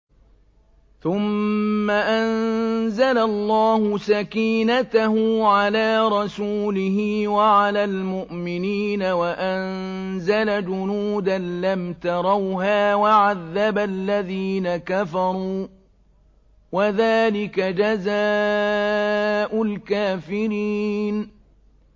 ثُمَّ أَنزَلَ اللَّهُ سَكِينَتَهُ عَلَىٰ رَسُولِهِ وَعَلَى الْمُؤْمِنِينَ وَأَنزَلَ جُنُودًا لَّمْ تَرَوْهَا وَعَذَّبَ الَّذِينَ كَفَرُوا ۚ وَذَٰلِكَ جَزَاءُ الْكَافِرِينَ